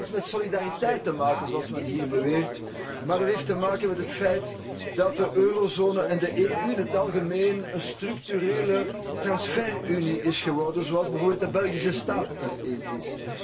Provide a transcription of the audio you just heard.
En dat heeft niets met solidariteit te maken, zoals men hier beweert, maar dat heeft te maken met het feit dat de eurozone en de EU in het algemeen een structurele transfer unie is geworden, zoals bijvoorbeeld de Belgische staat er een is.